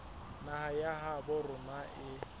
naha ya habo rona e